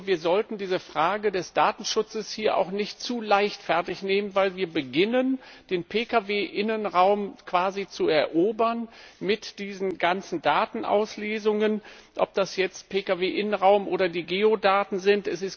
Nur sollten wir die Frage des Datenschutzes nicht zu leichtfertig nehmen, weil wir beginnen, den Pkw Innenraum quasi zu erobern mit diesen ganzen Datenauslesungen, ob das jetzt Pkw Innenraum oder die Geodaten sind.